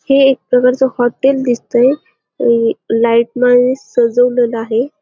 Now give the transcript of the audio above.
हे एक प्रकारच हॉटेल दिसतंय लाइट न सजवलेल आहे.